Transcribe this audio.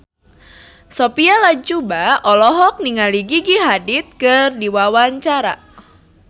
Sophia Latjuba olohok ningali Gigi Hadid keur diwawancara